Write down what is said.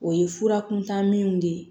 O ye fura kuntaninw de ye